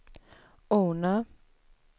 Ornö